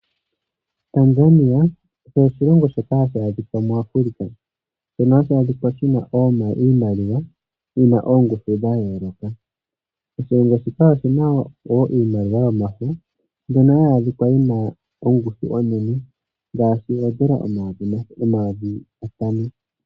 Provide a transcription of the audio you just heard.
Tanzania osho oshilongo shoka hashi adhika muAfrica. Shono hashi adhikwa shina iimaliwa yina oongushu dha yooloka. Oshilongo shika oshina wo iimaliwa yomafo ano hayi adhika yina ongushu onene ngaashi oodollar omayovi gatano.